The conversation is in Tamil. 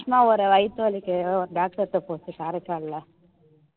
ஒரு வயித்து வலிக்கு ஒரு doctor கிட்ட போச்சு காரைக்கால்ல